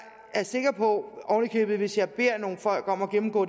er sikker på at hvis jeg beder nogle folk om at gennemgå